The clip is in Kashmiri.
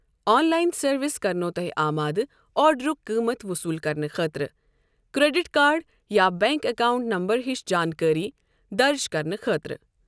آن لائن سروس کرنوٚ توٚہہِ آمادٕ آرڈرُک قۭمَت وصول کرنہٕ خٲطرٕ کریڈٹ کاڈ یا بینک اکاؤنٹ نمبر ہِش جانٛکٲری درج کرنہِ خٲطرٕ۔